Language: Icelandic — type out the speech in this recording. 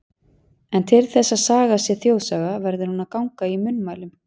En til þess að saga sé þjóðsaga, verður hún að ganga í munnmælum.